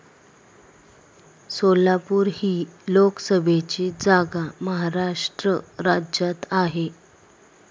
सोलापूर ही लोकसभेची जागा महाराष्ट्र राज्यात आहे.